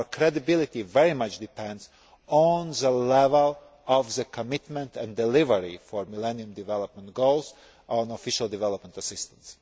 Our credibility very much depends on the level of commitment and delivery on the Millennium Development Goals and Official Development Assistance.